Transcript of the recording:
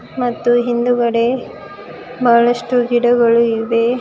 ಮತ್ತು ಹಿಂದುಗಡೆ ಬಹಳಷ್ಟು ಗಿಡಗಳು ಇವೆ.